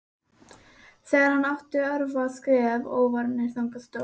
Þegar hann átti örfá skref ófarin þangað stóð